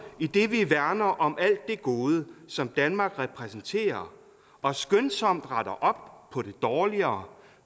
idet vi værner om alt det gode som danmark repræsenterer og skønsomt retter op på det dårligere